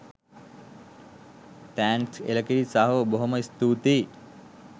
thanks එලකිරි සහෝ බොහෝම ස්තුතියි